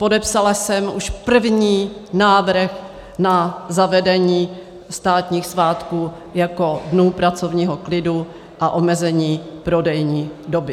Podepsala jsem už první návrh na zavedení státních svátků jako dnů pracovního klidu a omezení prodejní doby.